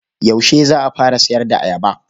Yaushe za ka fara sayar da ayaba?